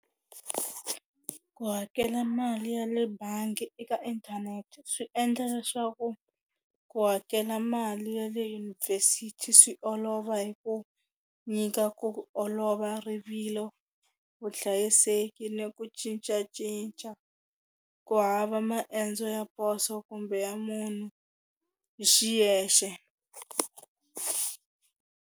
Ku hakela mali ya le bangi eka inthanete swi endla leswaku ku hakela mali ya le yunivhesithi swi olova hi ku nyika ku olova rivilo vuhlayiseki ni ku cincacinca ku hava maendzo ya poso kumbe ya munhu hi xiyexe.